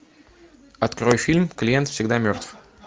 открой фильм клиент всегда мертв